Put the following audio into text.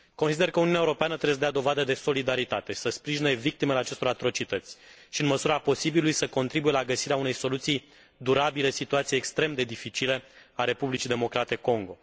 Consider că Uniunea Europeană trebuie să dea dovadă de solidaritate, să sprijine victimele acestor atrocități, și, în măsura posibilului, să contribuie la găsirea unei soluții durabile situației extrem de dificile a Republicii Democrate Congo.